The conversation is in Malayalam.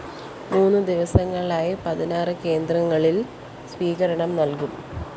മൂന്ന് ദിവസങ്ങളിലായി പതിനാറ് കേന്ദ്രങ്ങലില്‍ സ്വീകരണം നല്‍കും